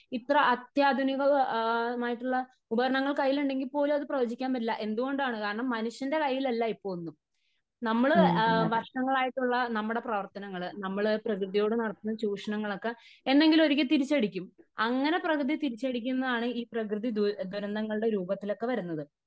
ഇത്ര അത്യാധുനികമായിട്ടുള്ള ഉപകരണങ്ങൾ കൈയിൽ ഉണ്ടെങ്കിൽ പോലും അത് പ്രവചിക്കാൻ പറ്റില്ല . എന്തുകൊണ്ടാണ് ? കാരണം മനുഷ്യന്റെ കൈയിൽ അല്ല ഇപ്പോ ഒന്നും . നമ്മള് വർഷങ്ങളായിട്ടുള്ള നമ്മുടെ പ്രവർത്തനങ്ങൾ നമ്മൾ പ്രകൃതിയോട് നടത്തുന്ന ചൂഷണങ്ങളൊക്കെ എന്നെങ്കിലും ഒരിക്കെ തിരിച്ചടിക്കും. അങ്ങനെ പ്രകൃതി തിരിച്ചടിക്കുന്നതാണ് പ്രകൃതി ദുരന്തങ്ങളുടെ രൂപത്തില് ഒക്കെ വരുന്നത് .